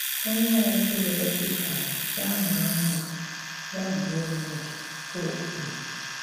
“Onye ọ̀ bụ́là òbì kárà, yà maa mmà, yà gbuo mmádụ̀,” ka ò kwùrù.